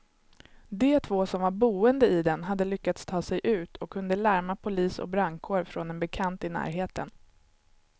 De två som var boende i den hade lyckats ta sig ut och kunde larma polis och brandkår från en bekant i närheten.